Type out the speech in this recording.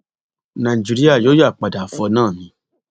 nàìjíríà yóò yáa padà fọ náà ni